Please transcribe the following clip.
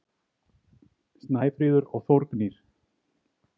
Snæfríður og Þórgnýr.